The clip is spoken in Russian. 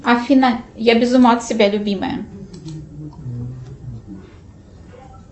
афина я без ума от тебя любимая